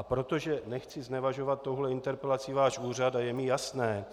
A protože nechci znevažovat touhle interpelací váš úřad a je mi jasné,